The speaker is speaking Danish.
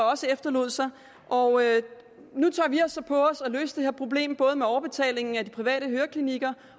efterlod sig og nu tager vi det så på os at løse det her problem både når overbetalingen af de private høreklinikker